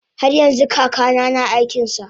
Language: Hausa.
haryanxu kakana na aikinsa